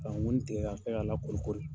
Ka wɔni tigɛ ka kɛ ka la kori kori.